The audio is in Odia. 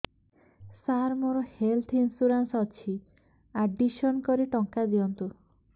ସାର ମୋର ହେଲ୍ଥ ଇନ୍ସୁରେନ୍ସ ଅଛି ଆଡ୍ମିଶନ କରି ଟଙ୍କା ଦିଅନ୍ତୁ